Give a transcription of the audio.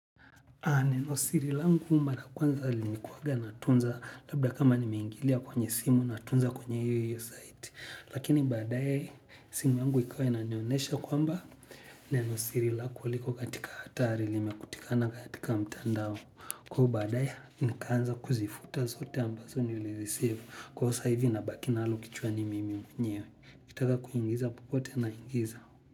Nenosiri langu mara kwanza limekuwaga natunza labda kama nimeingilia kwenye simu natunza kwenye iyo iyo site. Lakini baadaye, simu yangu ikawa inanionyesha kwamba nenosiri lako liko katika hatari limekutikana katika mtandao. Kwaivo baadaye, nikaanza kuzifuta zote ambazo nilireceive kwaivo sasa hivi nabaki nalo kichwani mimi mwenyewe. Nikitaka kuingiza popote mi naingiza.